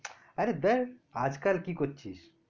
আরে ধ্যার আজ কাল কি করছিস?